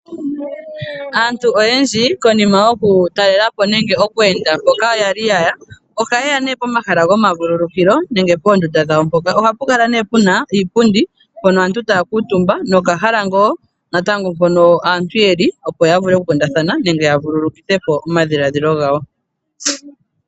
Aantu oyendji ngele yaza komahala hoka yaza nokutalelapo ohaya yi komahala ngoka go ku vuululukwa po , opo ya vule oku lalapo kashona ngele yavulwa.